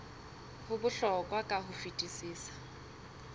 ho bohlokwa ka ho fetisisa